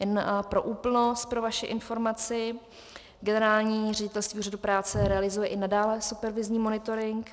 Jen pro úplnost pro vaši informaci - Generální ředitelství Úřadu práce realizuje i nadále supervizní monitoring.